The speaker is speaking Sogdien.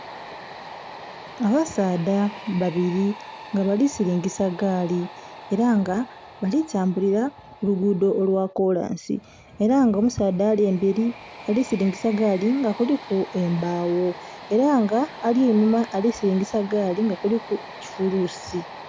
Abasaadha babili nga bali silingisa gaali ela nga bali tambulila ku luguudho olwa koolnsi ela nga omusaadha ali embeli alisilingisa gaali nga kuliku embagho. ela nga ali eighuma alisilingisa gaali nga kuliku ekifulusi.